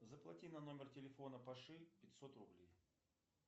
заплати на номер телефона паши пятьсот рублей